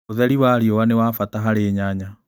ũtheri wa riũa nĩ wabata harĩ nyanya.